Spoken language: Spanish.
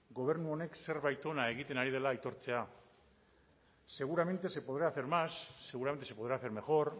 gobernu honek zerbait ona egiten ari dela aitortzea seguramente se podrá hacer más seguramente se podrá hacer mejor